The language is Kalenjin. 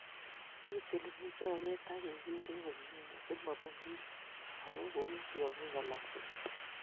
Ketilili choget akeker komye asimobun kiy ago kou tiong'ik alak tugul